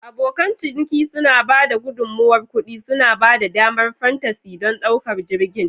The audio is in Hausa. Abokan ciniki suna ba da gudummawar kuɗi, suna ba da damar fantasy don ɗaukar jirgin.